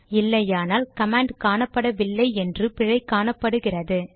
இல்லையானால் கமாண்ட் காணப்படவில்லை என்று பிழை காணப்படுகிறது